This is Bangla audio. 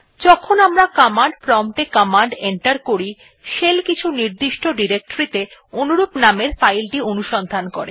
যখন আমরা কমান্ড প্রম্পট এ কমান্ড এন্টার করি শেল কিছু নির্দিষ্ট ডিরেক্টরীতে অনুরূপ নামের ফাইলটি অনুসন্ধান করে